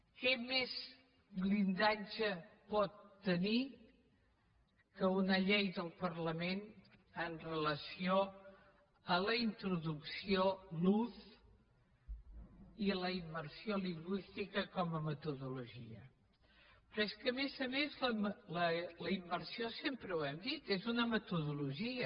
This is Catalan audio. quin més blindatge pot tenir que una llei del parlament amb relació a la introducció l’ús i la immersió lingüística com a metodologia però és que a més a més la immersió sempre ho hem dit és una metodologia